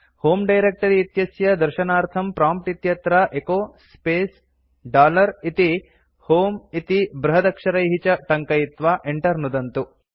होमे डायरेक्ट्री इत्यस्य दर्शनार्थं प्रॉम्प्ट् इत्यत्र एचो स्पेस् डॉलर इति होमे इति बृहदक्षरैः च टङ्कयित्वा enter नुदन्तु